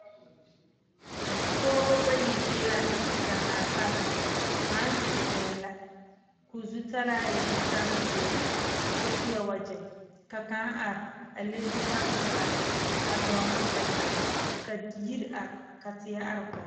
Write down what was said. Pɔgeba bayi be la daŋaa pare kaŋ zeŋee la ka o zutalaa e zutale zeɛ ka o seɛ wagyɛ ka kaŋ are a le zutare pelaa a dɔɔnɔ setage ka yiry are ka tie are koge